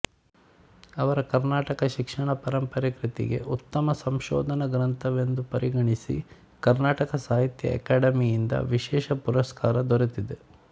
ಅವರ ಕರ್ನಾಟಕ ಶಿಕ್ಷಣ ಪರಂಪರೆ ಕೃತಿಗೆ ಉತ್ತಮ ಸಂಶೋಧನಾ ಗ್ರಂಥವೆಂದು ಪರಿಗಣಿಸಿ ಕರ್ನಾಟಕ ಸಾಹಿತ್ಯ ಅಕೆಡಮಿಯಿಂದ ವಿಶೇಷ ಪುರಸ್ಕಾರ ದೊರೆತಿದೆ